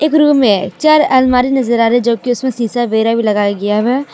में चार आलमारी नज़र आ रहा है जो कि उसमें शीशा वगैरह भी लगाया गया हुआ है।